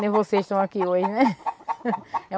Nem vocês estão aqui hoje, né?